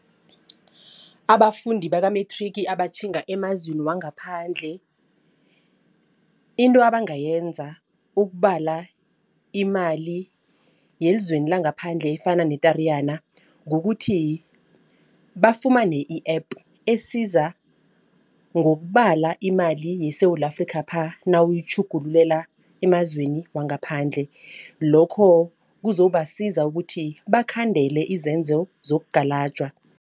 Abafundi baka-matric abatjhinga emazweni wangaphandle. Into abangayenza ukubala imali yezweni langaphandle efana netariyana kukuthi bafumane i-app esiza ngokubala imali yeSewula Afrikapha nawuyitjhugululela emazweni wangaphandle. Lokho kuzobasiza ukuthi bakhandele izenzo zokugalajwa.